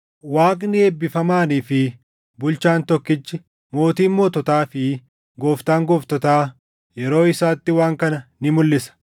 Waaqni eebbifamaanii fi Bulchaan tokkichi, Mootiin moototaa fi Gooftaan gooftotaa yeroo isaatti waan kana ni mulʼisa;